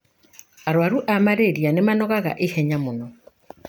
Arwaru a malaria nĩmanogaga ihenya mũno.